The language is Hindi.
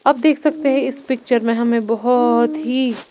आप देख सकते हैं इस पिक्चर में हमें बहुत ही--